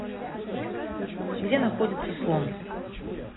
где находится слон